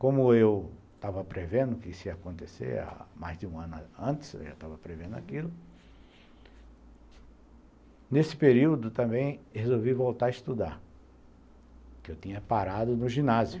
Como eu estava prevendo que isso ia acontecer mais de um ano antes, eu já estava prevendo aquilo, nesse período também resolvi voltar a estudar, porque eu tinha parado no ginásio.